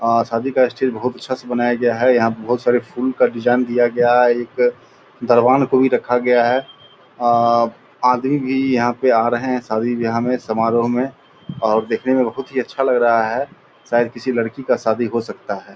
अ शादी का स्टेज बहुत अच्छा से बनाया गया है यहाँ पर बहुत सारे फूल का डिज़ाइन दिया गया है एक दरवान को भी रखा गया है अ आदमी भी बहुत यहाँ आ रहे है सभी यहाँ समारोह में और देखने में बहुत ही अच्छा लग रहा है शायद किसी लड़की का शादी हो सकता है।